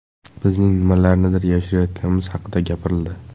Bizning nimalarnidir yashirayotganimiz haqida gapirildi.